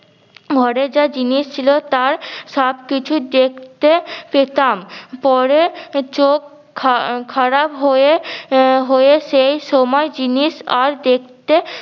ঘরে যা জিনিস ছিল তার সবকিছু দেখতে পেতাম। পরে চোখ খা~ খারাপ হয়ে আহ হয়ে সে সময়ের জিনিস আর দেখতে